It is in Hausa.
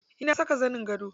Eh na saka zanin gado.